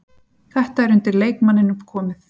Þetta er undir leikmanninum komið.